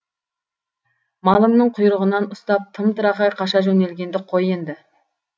малыңның құйрығынан ұстап тым тырақай қаша жөнелгенді қой енді